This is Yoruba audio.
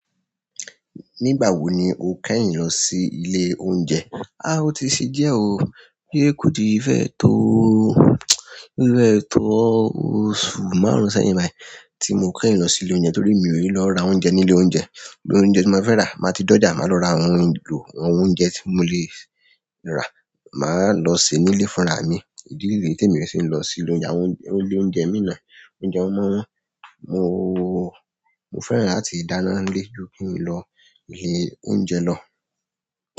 Nígbà wo ni o kẹ́yìn lọ sí ilé oúnjẹ? O ti sí díẹ̀ o, de ko ti ffẹ́ tó, ò ti fẹ́ tó oṣù márùn-ún sẹ́yìn báyìí tí mo kẹ́yìn lọ sí ilé oúnjẹ torí mi ò yi lọ ra oúnjẹ ní ilé oúnjẹ. Iru oúnjẹ ti n ba fẹ ra ma ti doja àwọn ohun elo àwọn oúnjẹ ti mo le ra lọ se nile fúnra mi idi niyi temi o ṣe lọ si ile oúnjẹ, àwọn ile oúnjẹ mii náà oúnjẹ wọn ma n wọn mo, mo fẹ́ràn láti dáná nílé ju kí n lọ ilé oúnjẹ lọ.